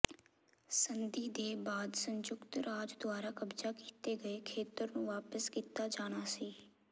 ਸੰਧੀ ਦੇ ਬਾਅਦ ਸੰਯੁਕਤ ਰਾਜ ਦੁਆਰਾ ਕਬਜ਼ਾ ਕੀਤੇ ਗਏ ਖੇਤਰ ਨੂੰ ਵਾਪਸ ਕੀਤਾ ਜਾਣਾ ਸੀ